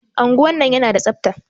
Anguwan nan yana da tsafta.